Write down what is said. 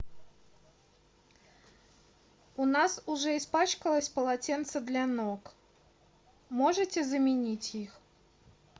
у нас уже испачкалось полотенце для ног можете заменить их